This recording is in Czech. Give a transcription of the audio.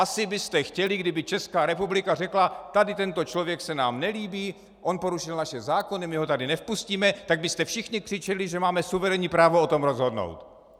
Asi byste chtěli, kdyby Česká republika řekla - tady tento člověk se nám nelíbí, on porušil naše zákony, my ho tady nevpustíme - tak byste všichni křičeli, že máme suverénní právo o tom rozhodnout.